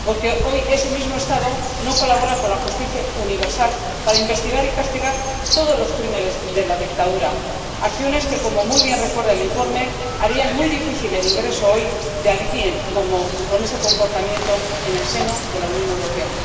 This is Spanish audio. Porque hoy ese mismo Estado no colabora con la justicia universal para investigar y castigar todos los crímenes de la dictadura, acciones, que como muy bien recuerda el informe, harían muy difícil el ingreso hoy de alguien con ese comportamiento en el seno de la Unión Europea.